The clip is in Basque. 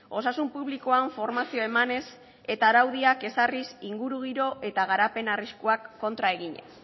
osasun publikoan formazioa emanez eta araudiak ezarriz ingurugiro eta garapen arriskuak kontra eginez